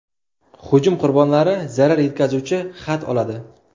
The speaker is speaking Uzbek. Hujum qurbonlari zarar yetkazuvchi xat oladi.